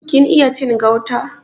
Kin iya cin gauta?